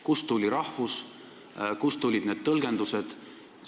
Kust tuli see "rahvus", kust tulid need tõlgendused?